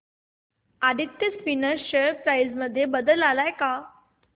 Aditya Spinners share price मध्ये बदल आलाय का